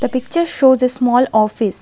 The picture shows a small office.